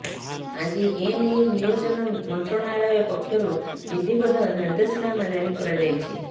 ଆଜି ଏ ନେଇ ନିୟୋଜନ ମନ୍ତ୍ରଣାଳୟ ପକ୍ଷରୁ ବିଧିବଦ୍ଧ ନିର୍ଦ୍ଦେଶନାମା ଜାରି କରାଯାଇଛି